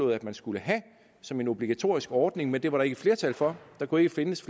at man skulle have som en obligatorisk ordning men det var der ikke flertal for der kunne ikke findes